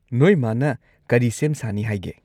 ꯅꯣꯏ ꯃꯥꯅ ꯀꯔꯤ ꯁꯦꯝ ꯁꯥꯅꯤ ꯍꯥꯏꯒꯦ?